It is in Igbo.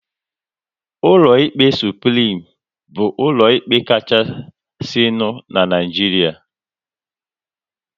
Ụlọ ikpe Suprim bụ ụlọ ikpe kachasinu n'Naijiria